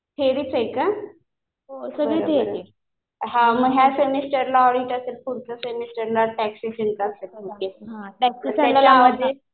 थेरीच आहे का. बरं बरं. हा मग ह्या सेमिस्टरला ऑडिट असेल. पुढच्या सेमिस्टरला टॅक्सेशनचं असेल. तर त्याच्या आधी